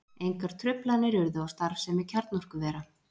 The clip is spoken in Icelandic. Engar truflanir urðu á starfsemi kjarnorkuvera